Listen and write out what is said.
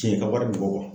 Tiɲɛ ka wari bɔ